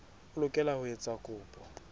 o lokela ho etsa kopo